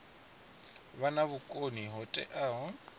vha na vhukoni ho teaho